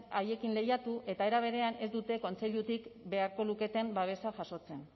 haiekin lehiatu eta era berean ez dute kontseilutik beharko luketen babesa jasotzen